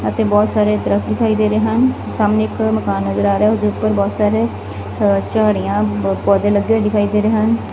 ਐਥੇ ਬੋਹਤ ਸਾਰੇ ਦਤਖਤ ਦਿਖਾਈ ਦੇ ਰਹੇ ਹਨ ਸਾਮਨੇ ਇੱਕ ਮਕਾਨ ਨਜ਼ਰ ਆ ਰਿਹਾ ਹੈ ਓਦੇ ਉਪਰ ਬੋਹਤ ਸਾਰੇ ਝੜੀਆਂ ਪੌਦੇ ਲੱਗੇ ਹੋਏ ਦਿਖਾਈ ਦੇ ਰਹੇ ਹਨ।